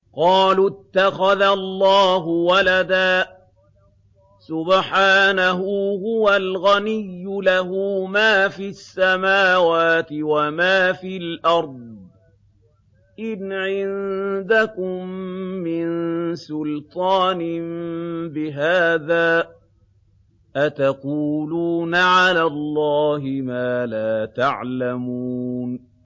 قَالُوا اتَّخَذَ اللَّهُ وَلَدًا ۗ سُبْحَانَهُ ۖ هُوَ الْغَنِيُّ ۖ لَهُ مَا فِي السَّمَاوَاتِ وَمَا فِي الْأَرْضِ ۚ إِنْ عِندَكُم مِّن سُلْطَانٍ بِهَٰذَا ۚ أَتَقُولُونَ عَلَى اللَّهِ مَا لَا تَعْلَمُونَ